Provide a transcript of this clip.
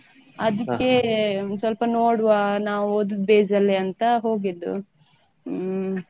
ಅದಿಕ್ಕೆ ಸ್ವಲ್ಪ ನೋಡುವ ನಾವ್ ಓದುದ್ base ಅಲ್ಲೇ ಅಂತ ಹೋಗಿದ್ದು ಹ್ಮ್.